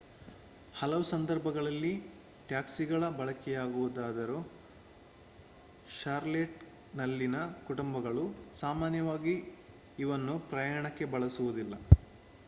ಹಲವು ಸಂದರ್ಭಗಳಲ್ಲಿ ಟ್ಯಾಕ್ಸಿಗಳ ಬಳಕೆಯಾಗುತ್ತದಾದರೂ ಷಾರ್ಲೆಟ್‌ನಲ್ಲಿನ ಕುಟುಂಬಗಳು ಸಾಮಾನ್ಯವಾಗಿ ಇವನ್ನು ಪ್ರಯಾಣಕ್ಕೆ ಬಳಸುವುದಿಲ್ಲ